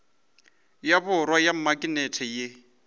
ya borwa ya maknete ye